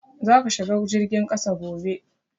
Za ka shiga jirgin kasa gobe!